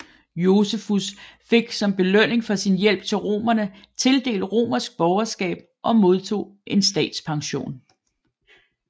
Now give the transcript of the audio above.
Josefus fik som belønning for sin hjælp til romerne tildelt romersk borgerskab og modtog en statspension